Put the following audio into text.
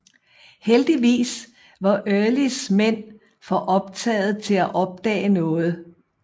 Heldigvis var Earlys mænd for optagede til at opdage noget